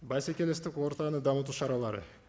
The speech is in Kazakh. бәсекелестік ортаны дамыту шаралары